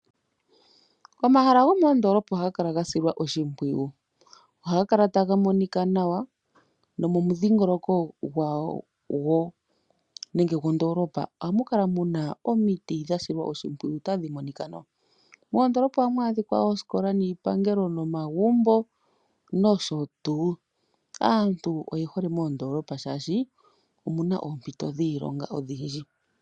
Omahala gomoondolopa ohaga kala gasilwa oshipwiyu. Ohaga kala taga monika nawa nomomushingoloko gwondoolopa ohamu kala muna omiti dhasilwa oshipwiyu tadhi monika nawa. Moondolopa ohamu adhika oosikola, iipangelo nomagumbo nosho tuu. Aantu oye hole oku kala moondolopa shaashi omuna oompito odhindji dhiilonga.